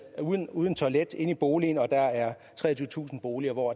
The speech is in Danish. uden uden toilet inde i boligen og at der er treogtyvetusind boliger hvor